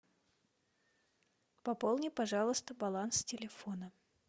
пополни пожалуйста баланс телефона